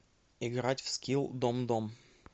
играть в скилл домдом